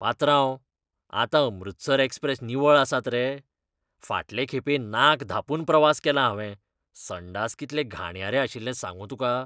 पात्रांव, आतां अमृतसर एक्सप्रेस निवळ आसात रे? फाटलें खेपें नाक धांपून प्रवास केलां हांवें, संडास कितले घाणयारे आशिल्लें सांगू तुका.